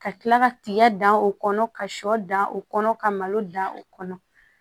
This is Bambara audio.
Ka kila ka tiga dan o kɔnɔ ka sɔ dan o kɔnɔ ka malo dan o kɔnɔ